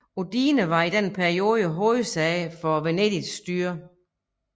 Udine var i denne periode hovedsæde for Venedigs styre